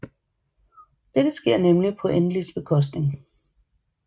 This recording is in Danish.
Dette sker nemlig på Enlils bekostning